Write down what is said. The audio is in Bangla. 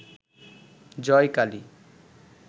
জয় কালী